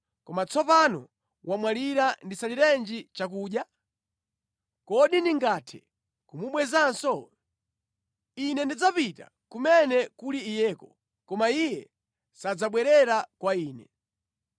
Koma tsopano wamwalira ndisaliranji chakudya? Kodi ndingathe kumubwezanso? Ine ndidzapita kumene kuli iyeko, koma iye sadzabwerera kwa ine.”